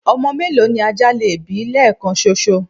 ọmọ mélòó ni ajá lè bí lẹẹkan ṣoṣo?